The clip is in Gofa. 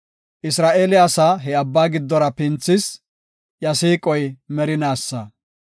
Isra7eele asaa he abba giddora pinthis; iya siiqoy merinaasa.